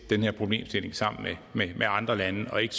den her problemstilling sammen med andre lande og ikke